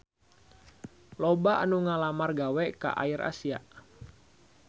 Loba anu ngalamar gawe ka AirAsia